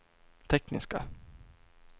tekniska